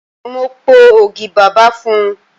Mo po ogi bàbà fún un.